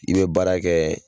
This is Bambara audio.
I bɛ baara kɛ